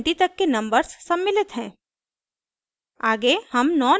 इसमें 1 से 20 तक के नंबर्स सम्मिलित हैं